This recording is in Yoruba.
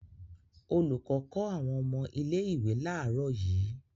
Olùkọ́ kọ́ àwọn ọmọ ilé-ìwé láàárọ̀ yìí.